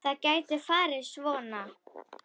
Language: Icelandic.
Það gæti farið svo.